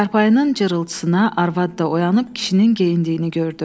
Çarpayının cırıltısına arvad da oyanıb kişinin geyindiyini gördü.